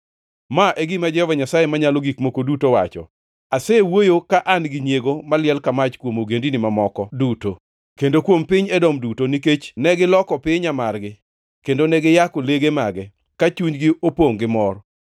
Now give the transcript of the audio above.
Ma e gima Jehova Nyasaye Manyalo Gik Moko Duto wacho: Asewuoyo ka an gi nyiego maliel ka mach kuom ogendini mamoko duto, kendo kuom piny Edom duto, nikech negiloko pinya margi, kendo ne giyako lege mage, ka chunygi opongʼ gi mor.’